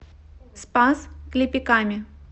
спас клепиками